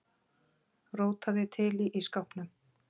Rótaði til í ísskápnum.